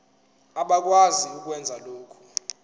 abakwazi ukwenza lokhu